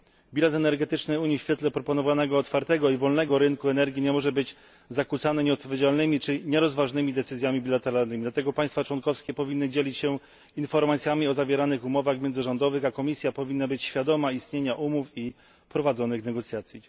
Bilans energetyczny Unii w świetle proponowanego otwartego i wolnego rynku energii nie może być zakłócany nieodpowiedzialnymi czy nierozważnymi decyzjami bilateralnymi, dlatego państwa członkowskie powinny dzielić się informacjami o zawieranych umowach międzyrządowych, a Komisja powinna być świadoma istnienia umów i prowadzonych negocjacji.